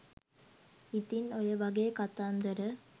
ඉතින් ඔයවගේ කතන්දර